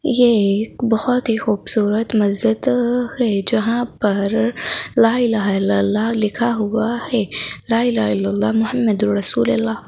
ये एक बहुत ही खूबसूरत मस्जिद है जहां पर ला इलाहा इल्लल्लाह लिखा हुआ है ला इलाहा इल्लाह मोहम्मदर रसूलल्लाह--